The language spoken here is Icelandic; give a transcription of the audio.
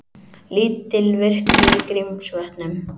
Lítil virkni í Grímsvötnum